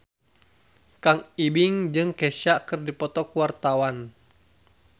Kang Ibing jeung Kesha keur dipoto ku wartawan